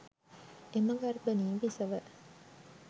එම ගර්භනී බිසව